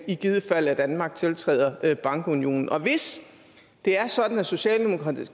i givet fald at danmark tiltræder bankunionen og hvis det er sådan at socialdemokratiet